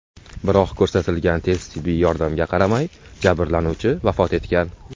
Biroq ko‘rsatilgan tez tibbiy yordamga qaramay jabrlanuvchi vafot etgan.